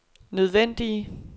nødvendige